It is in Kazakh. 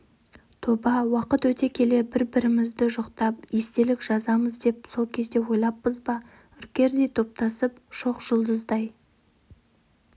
тоба уақыт өте келе бір-бірімізді жоқтап естелік жазамыз деп сол кезде ойлаппыз ба үркердей топтасып шоқжұлдыздай